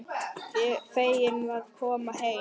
Feginn að koma heim.